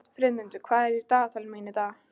Friðmundur, hvað er á dagatalinu mínu í dag?